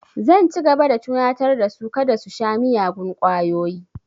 Zan ci gaba da tunatar da su kada su sha miyagun ƙwayoyi